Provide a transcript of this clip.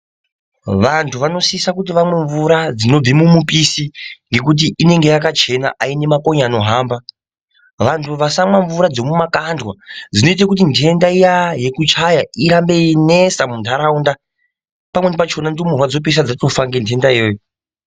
Vantu vanosisa kuti vamwe mvura dzinoibve mumupisi ngekuti inenge yakachena, haine makonye anohamba. Vantu vasamwa mvura dzemumakandwa, dzinoite kuti ndenda iya yekuchaya irambe yeinesa muntaraunda. Pamweni pachona ndumurwa dzoopedzisira dzatofa ngendenda iyoyo.